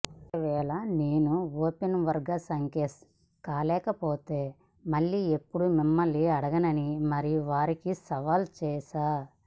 ఒకవేళ నేను ఓపెనర్గా సక్సెస్ కాలేకపోతే మళ్లీ ఎప్పుడూ మిమ్మల్ని అడగనని మరీ వారికి సవాల్ చేశా